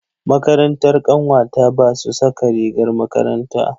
Makarantar ƙanwata ba su saka rigar makaranta.